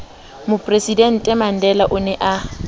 mopresidente mandela o ne a